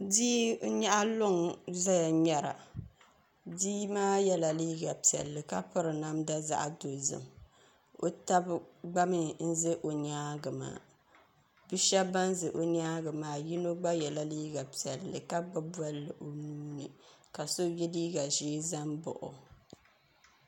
Bia n nyaɣa luŋ n ʒɛya ŋmɛra bia maa yɛla liiga piɛlli ka piri namda zaɣ dozim o tabi gba mii n ʒɛ o nyaangi maa bia shab ban ʒɛ o nyaangi maa yino gba yɛla liiga piɛlli ka gbubi Bolli o nuuni ka so yɛ liiga ʒiɛ ʒɛ n baɣa o